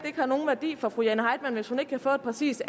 ikke har nogen værdi for fru jane heitmann hvis ikke hun kan få et præcist